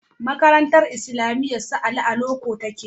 Makarantar islamiyar su Ali a loko take